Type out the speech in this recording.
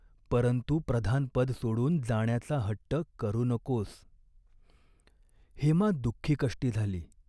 परंतु प्रधानपद सोडून जाण्याचा हट्ट करू नकोस." हेमा दुखीकष्टी झाली.